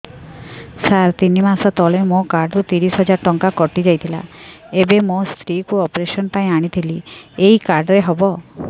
ସାର ତିନି ମାସ ତଳେ ମୋ କାର୍ଡ ରୁ ତିରିଶ ହଜାର ଟଙ୍କା କଟିଯାଇଥିଲା ଏବେ ମୋ ସ୍ତ୍ରୀ କୁ ଅପେରସନ ପାଇଁ ଆଣିଥିଲି ଏଇ କାର୍ଡ ରେ ହବ